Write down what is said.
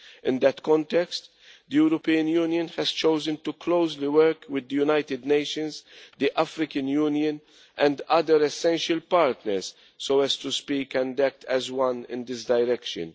In that context, the European Union has chosen to work closely with the United Nations, the African Union and other essential partners so as to speak and act as one in this direction.